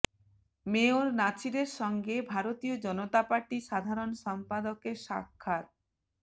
mayor নাছিরের সঙ্গে Bharatiya Janata Party সাধারণ সম্পাদকের সাক্ষাৎ